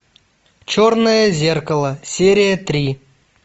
черное зеркало серия три